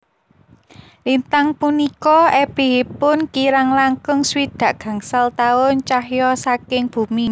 Lintang punika ebihipun kirang langkung swidak gangsal taun cahya saking bumi